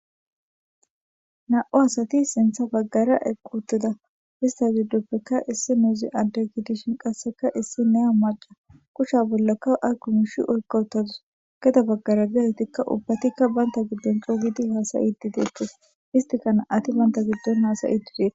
na7u asati sintha baggara equtida hista zudduppekka issi nuuzi antagitishin qasseka issi nea maca kushsha bollakka a gumush oykoottadus geda baggara gatetikka ubbatikka baynta giddon cuugidi haasayidideettes istikana ati baynta giddon haasayidideere